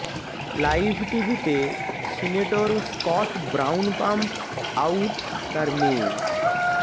live টিভিতে senator Scott Brown pump out তার মেয়ে